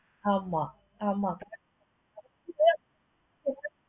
ஆமா ஆமா correct